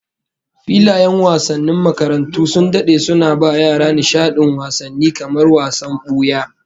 Filayen wasannin makarantu sun dade suna ba yara nishadin wasanni kamar wasan buya